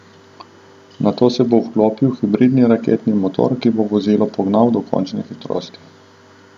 Nato se bo vklopil hibridni raketni motor, ki bo vozilo pognal do končne hitrosti.